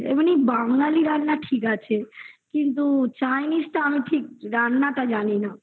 আচ্ছা শোনো না তুমি chinese যখন করব আমাকে মাঝে মাঝে phone করো